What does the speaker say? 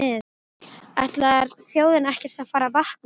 Ætlar þjóðin ekkert að fara að vakna?